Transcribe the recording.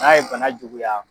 N'a ye bana juguya